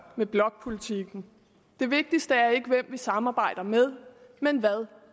med blokpolitikken det vigtigste er ikke hvem vi samarbejder med men hvad